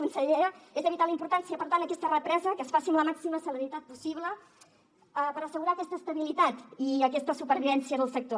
consellera és de vital importància per tant aquesta represa que es faci amb la màxima celeritat possible per assegurar aquesta estabilitat i aquesta supervivència del sector